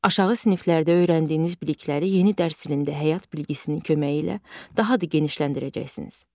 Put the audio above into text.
Aşağı siniflərdə öyrəndiyiniz bilikləri yeni dərs ilində həyat bilgisinin köməyi ilə daha da genişləndirəcəksiniz.